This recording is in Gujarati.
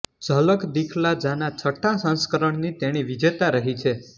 ઝલક દિખલા જાના છઠ્ઠા સંસ્કરણની તેણી વિજેતા રહી છે